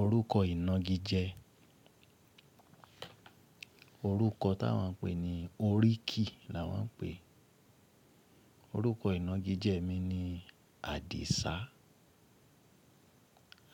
Orúkọ ìnagijẹ. Orúkọ táa wón ń pè ní oríkì là wón ń pè. Orúkọ ìnagijẹ mi ni Àdìsá.